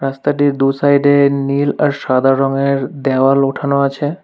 রাস্তাটির দু-সাইড -এ নীল আর সাদা রঙের দেওয়াল উঠানো আছে।